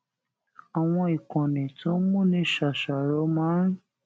àwọn ìkànnì tó ń múni ṣàṣàrò máa ń